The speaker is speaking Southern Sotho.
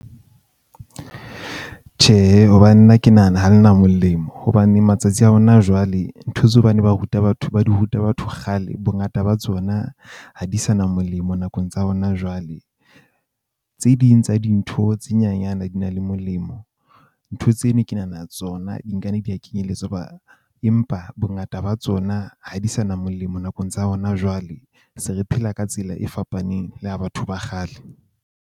Tjhehe, hobane nna ke nahana ha le na molemo hobane matsatsi a hona jwale, ntho tse ba ne ba di ruta batho ba di ruta batho kgale, bongata ba tsona ha di sa na molemo nakong tsa hona jwale. Tse ding tsa dintho tse nyanyana di na le molemo. Ntho tseno ke nahana tsona di nkana di a kenyelletswa ba, empa bongata ba tsona ha di sa na molemo. Nakong tsa hona jwale, se re phela ka tsela e fapaneng le ya batho ba kgale.